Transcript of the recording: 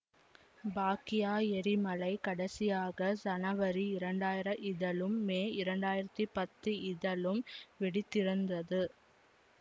பாக்யா எரிமலை கடைசியாக சனவரி இரண்டாயிரம் இதலும் மே இரண்டாயிரத்தி பத்து இதலும் வெடித்திருந்தது